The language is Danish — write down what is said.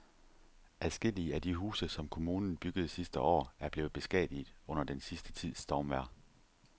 Adskillige af de huse, som kommunen byggede sidste år, er blevet beskadiget under den sidste tids stormvejr.